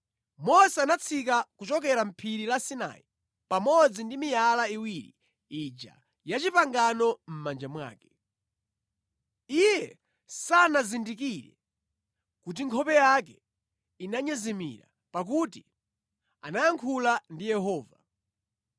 Mose anatsika kuchokera mʼPhiri la Sinai pamodzi ndi miyala iwiri ija ya pangano mʼmanja mwake. Iye sanazindikire kuti nkhope yake imanyezimira pakuti anayankhula ndi Yehova.